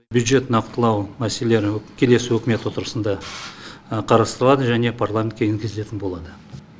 бюджетті нақтылау мәселелері келесі үкімет отырысында қарастырылады және парламентке енгізілетін болады